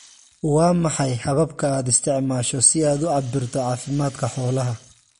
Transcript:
Waa maxay hababka aad isticmaasho si aad u cabbirto caafimaadka xoolaha?